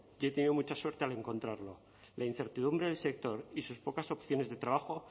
y he tenido mucha suerte al encontrarlo la incertidumbre del sector y sus pocas opciones de trabajo